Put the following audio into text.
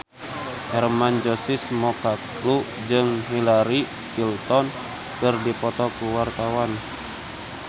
Hermann Josis Mokalu jeung Hillary Clinton keur dipoto ku wartawan